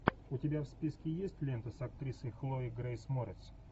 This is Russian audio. у тебя в списке есть лента с актрисой хлоей грейс морец